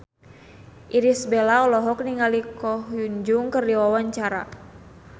Irish Bella olohok ningali Ko Hyun Jung keur diwawancara